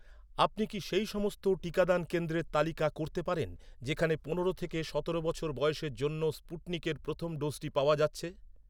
আপনি কি সেই সমস্ত টিকাদান কেন্দ্রের তালিকা করতে পারেন, যেখানে পনেরো থেকে সতেরো বছর বয়সের জন্য স্পুটনিকের প্রথম ডোজটি পাওয়া যাচ্ছে?